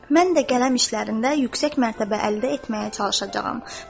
Mən də qələm işlərində yüksək mərtəbə əldə etməyə çalışacağam.